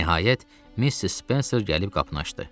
Nəhayət Missis Spenser gəlib qapını açdı.